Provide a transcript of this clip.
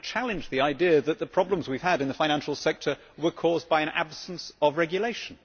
I am going to challenge the idea that the problems we have had in the financial sector were caused by an absence of regulation.